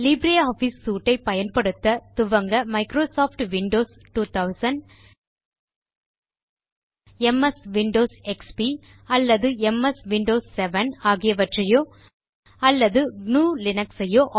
Libre office suite ஐ பயன்படுத்த துவங்க Microsoft Windows 2000 MS Windows XP அல்லது எம்எஸ் விண்டோஸ் 7 ஆகியவற்றையோ அல்லது gnuலினக்ஸ் சையோ